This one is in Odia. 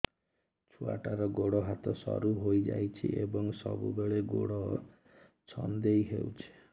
ଛୁଆଟାର ଗୋଡ଼ ହାତ ସରୁ ହୋଇଯାଇଛି ଏବଂ ସବୁବେଳେ ଗୋଡ଼ ଛଂଦେଇ ହେଉଛି